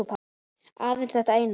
Aðeins þetta eina